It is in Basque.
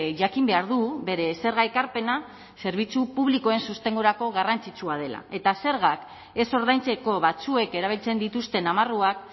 jakin behar du bere zerga ekarpena zerbitzu publikoen sostengurako garrantzitsua dela eta zergak ez ordaintzeko batzuek erabiltzen dituzten amarruak